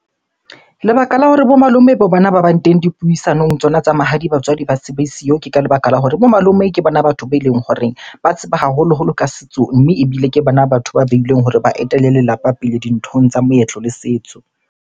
Lebaka la hore bo malome bang teng dipuisanong tsona tsa mahadi, batswadi ba se be siyo. Ke ka lebaka la hore bo malome ke bona batho beleng hore ba tseba haholoholo ka setso, mme ebile ke bona batho ba behilweng hore ba etele lelapa pele dinthong tsa moetlo le setso.